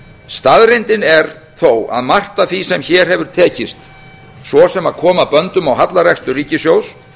staðreyndin er þó að margt af því sem hér hefur tekist svo sem að koma böndum á hallarekstur ríkissjóðs